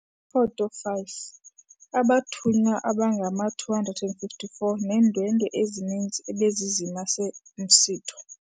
Ifoto 5- Abathunywa abangama-254 neendwendwe ezininzi ebezizimase umsitho.